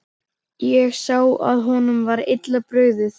Ég sá að honum var illa brugðið.